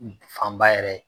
Fan ba yɛrɛ